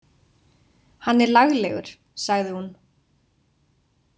Hann er laglegur, sagði hún.